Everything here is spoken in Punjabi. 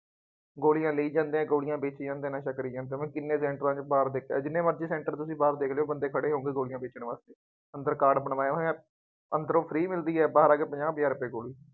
ਗੋਲੀਆਂ ਲਈ ਜਾਂਦੇ ਹੈ, ਗੋਲੀਆਂ ਵੇਚੀ ਜਾਂਦੇ ਹੈ, ਨਸ਼ਾ ਕਰੀ ਜਾਂਦੇ, ਕਿੰਨੇ ਸੈਂਟਰਾਂ ਦੇ ਬਾਹਰ ਦੇਖ ਲਿਆ, ਜਿੰਨੇ ਮਰਜ਼ੀ ਸੈਂਟਰ ਤੁਸੀਂ ਬਾਹਰ ਦੇਖ ਲਉ ਬੰਦੇ ਖੜ੍ਹੇ ਹੋਊਗੇ ਗੋਲੀਆਂ ਵੇਚਣ ਵਾਸਤੇ, ਅੰਦਰ ਕਾਰਡ ਬਣਵਾਇਆਂ ਹੋਇਆ ਅੰਦਰੋ free ਮਿਲਦੀ ਹੈ, ਬਾਹਰ ਆ ਕੇ ਪੰਜਾਹ ਪੰਜਾਹ ਰੁਪਏ ਗੋਲੀ।